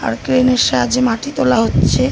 crane -এর সাহায্যে মাটি তোলা হচ্ছে--